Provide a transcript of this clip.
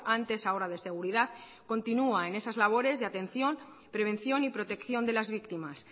antes ahora de seguridad continúan en esas labores de atención prevención y protección de las víctimas